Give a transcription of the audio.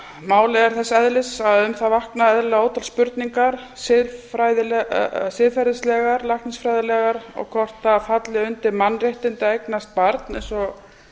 málið er þess eðlis að um það vakna eðlilega ótal spurningar siðferðislegar læknisfræðilegar og hvort það falli undir mannréttindi að eignast barn eins og